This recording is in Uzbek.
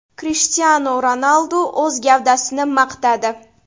Krishtianu Ronaldu o‘z gavdasini maqtadi .